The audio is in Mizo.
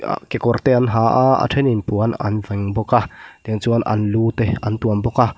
aa kawr te an ha a a ṭhenin puan an veng bawk a tiang chuan an lu te an tuam bawk a